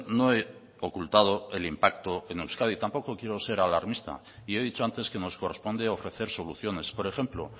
no he ocultado el impacto en euskadi tampoco quiero ser alarmista y he dicho antes que nos corresponde ofrecer soluciones por ejemplo